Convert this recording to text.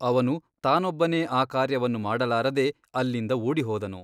ಅವನು ತಾನೊಬ್ಬನೇ ಆ ಕಾರ್ಯವನ್ನು ಮಾಡಲಾರದೆ ಅಲ್ಲಿಂದ ಓಡಿ ಹೋದನು.